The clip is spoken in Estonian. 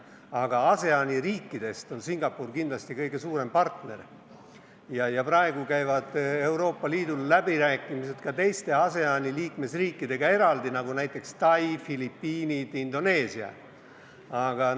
Aga ASEAN-i riikidest on Singapur kindlasti kõige suurem partner ja praegu käivad Euroopa Liidul läbirääkimised ka teiste ASEAN-i liikmesriikidega, näiteks Tai, Filipiinide, Indoneesiaga.